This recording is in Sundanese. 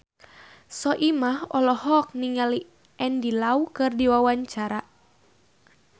Soimah olohok ningali Andy Lau keur diwawancara